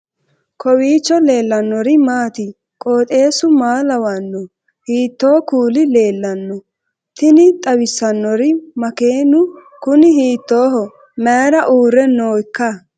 kowiicho leellannori maati ? qooxeessu maa lawaanno ? hiitoo kuuli leellanno ? tini xawissannori makeenu kuni hiittooho mayra uurre nooikka